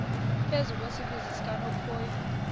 phezu kwesiziba sikanophoyi